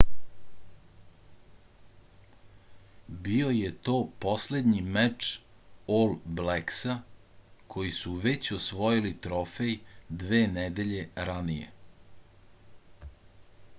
bio je to poslednji meč ol bleksa koji su već osvojili trofej dve nedelje ranije